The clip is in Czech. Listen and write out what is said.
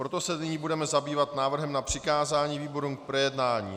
Proto se nyní budeme zabývat návrhem na přikázání výborům k projednání.